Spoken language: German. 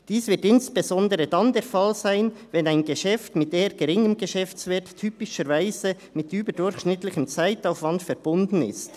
Dies wird insbesondere dann der Fall sein, wenn ein Geschäft mit eher geringem Geschäftswert typischerweise mit überdurchschnittlichem Zeitaufwand verbunden ist.